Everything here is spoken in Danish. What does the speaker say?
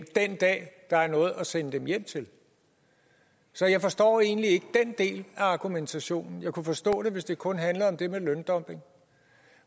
den dag der er noget at sende dem hjem til så jeg forstår egentlig ikke den del af argumentationen jeg kunne forstå den hvis det kun handlede om det med løndumping